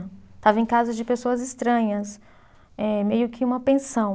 Estava em casa de pessoas estranhas, eh meio que uma pensão.